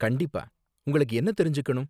கண்டிப்பா, உங்களுக்கு என்ன தெரிஞ்சுக்கணும்?